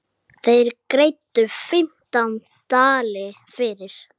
Þeir greiddu fimmtán dali fyrir.